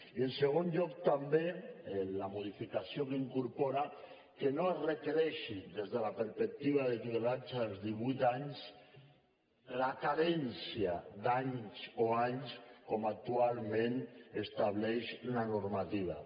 i en segon lloc també la modificació incorpora que no es requereixi des de la perspectiva de tutelats als divuit anys la carència d’anys o anys com actualment estableix la normativa